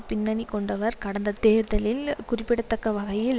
பின்னணி கொண்டவர் கடந்த ஜனாதிபதி தேர்தலில் குறிப்பிடத்தக்க வகையில்